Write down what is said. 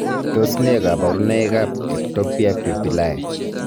Tos nee koborunoikab Ectopia pupillae.